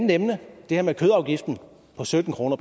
nemlig det her med kødafgiften på sytten kroner